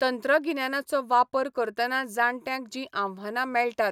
तंत्रगिन्यानाचो वापर करतना जाणट्यांक जीं आव्हानां मेळटात.